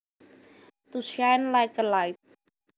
To shine like a light